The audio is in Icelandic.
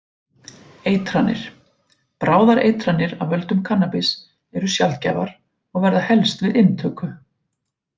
Eitranir: Bráðar eitranir af völdum kannabis eru sjaldgæfar og verða helst við inntöku.